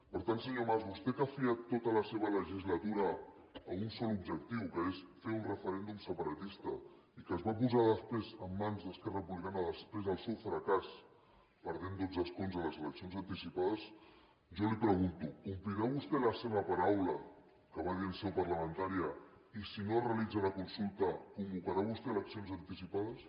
per tant senyor mas a vostè que ha fiat tota la seva legislatura a un sol objectiu que és fer un referèndum separatista i que es va posar després en mans d’esquerra republicana després del seu fracàs en perdre dotze escons en les eleccions anticipades jo li pregunto complirà vostè la seva paraula que va dir en seu parlamentària i si no es realitza la consulta convocarà vostè eleccions anticipades